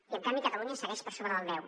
i en canvi catalunya segueix per sobre del deu